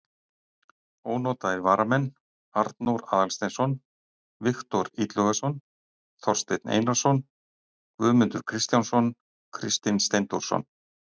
Ónotaðir varamenn: Arnór Aðalsteinsson, Viktor Illugason, Þorsteinn Einarsson, Guðmundur Kristjánsson, Kristinn Steindórsson.